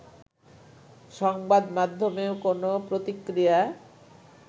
সংবাদমাধ্যমেও কোনও প্রতিক্রিয়া